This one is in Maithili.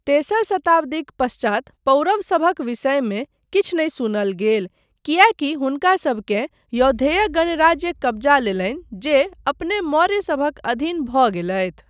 तेसर शताब्दीक पश्चात पौरवसभक विषयमे किछु नहि सुनल गेल किएकि हुनकासभकेँ यौधेय गणराज्य कब्जा लेलनि जे अपने मौर्यसभक अधीन भऽ गेलथि।